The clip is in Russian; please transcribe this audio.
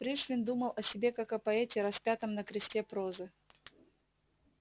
пришвин думал о себе как о поэте распятом на кресте прозы